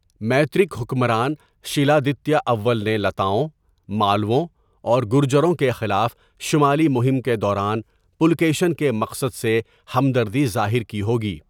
مَیترک حکمران شیلآدتیہ اول نے لتاؤں، مالَووں اور گرجروں کے خلاف شمالی مہم کے دوران پُلکیشن کے مقصد سے ہمدردی ظاہر کی ہو گی۔